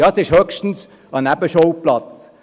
Ja, es ist höchstens ein Nebenschauplatz.